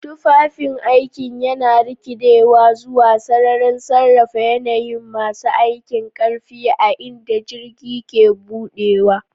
Tufafin aikin yana rikidewa zuwa sararin sarrafa yanayin masu aikin ƙarfi a inda jirgi ke buɗewa.